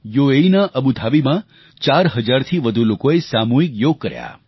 યુએઈના અબુ ધાબીમાં 4000થી વધુ લોકોએ સામૂહિક યોગ કર્યા